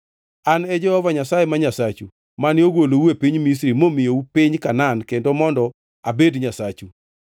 An e Jehova Nyasaye ma Nyasachu, mane ogolou e piny Misri momiyou piny Kanaan kendo mondo abed Nyasachu.